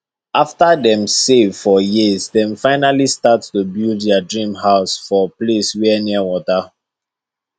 after dem save for years dem finally start to build dia dream house for place wey near wata